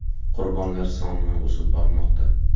Qurbonlar soni o‘sib bormoqda.